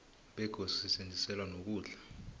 begodi sisetjenziselwa nokudla